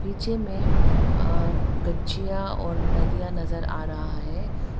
पीछे में अह गच्छियां और नदिया नजर आ रहा है।